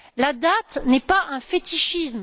La date n'est pas un fétichisme.